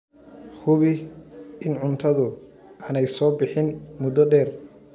Hubi in cuntadu aanay soo bixin muddo dheer.